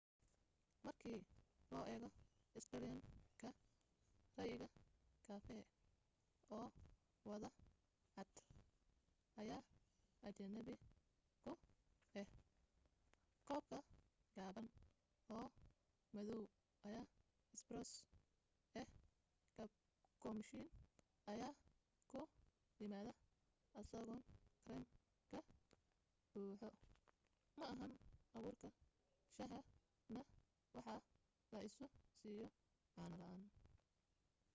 markii loo eego australian-ka ray'iga kafee 'oo wada cad’ ayaa ajnabi ku ah. koobka gaaban oo madaw ayaa ‘espresso’ ah cappuccino ayaa ku yimaada isagoo kareem ka buuxo ma ahan abuurka shaha na waxaa la isu siiyo caano la’aan